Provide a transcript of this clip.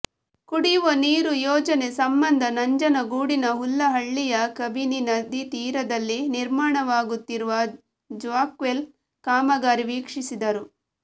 ಕುಡಿಯುವ ನೀರು ಯೋಜನೆ ಸಂಬಂಧ ನಂಜನಗೂಡಿನ ಹುಲ್ಲಹಳ್ಳಿಯ ಕಬಿನಿ ನದಿತೀರದಲ್ಲಿ ನಿರ್ಮಾಣವಾಗುತ್ತಿರುವ ಜಾಕ್ವೆಲ್ ಕಾಮಗಾರಿ ವೀಕ್ಷಿಸಿದರು